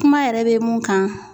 Kuma yɛrɛ bɛ mun kan